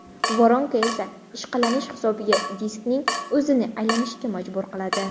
Voronka esa ishqalanish hisobiga diskning o‘zini aylanishga majbur qiladi.